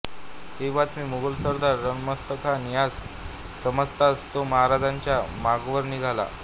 ही बातमी मोगल सरदार रणमस्तखान ह्यास समजताच तो महाराजांच्या मागावर निघाला